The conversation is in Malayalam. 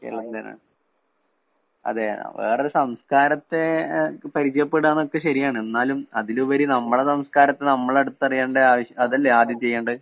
അതേ. വേറൊരു സംസ്കാരത്തെ പരിചയപ്പെടുക എന്നൊക്കെ ശരിയാണ്. എന്നാലും അതിലുപരി നമ്മുടെ സംസ്കാരത്തെ നമ്മള് അടുത്തറിയേണ്ട അതല്ലേ ആദ്യം ചെയ്യേണ്ടെ.